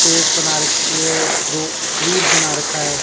Face बना रखी है रो बना रखा है।